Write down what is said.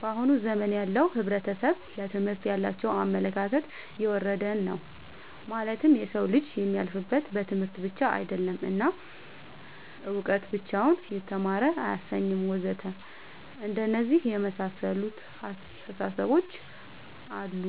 በአሁን ዘመን ያለው ሕብረተሰብ ለትምህርት ያላቸው አመለካከት የወረደ ነው ማለትም የሰው ልጅ የሚያልፍለት በትምህርት ብቻ አይደለም እና እውቀት ብቻውን የተማረ አያሰኝም ወዘተ አንደነዚህ የመሳሰሉት አስታሳሰቦች አሉ